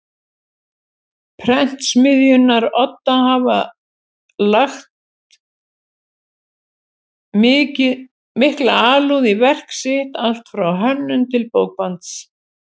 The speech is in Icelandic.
Prentsmiðjunnar Odda hafa lagt mikla alúð við verk sitt allt frá hönnun til bókbands.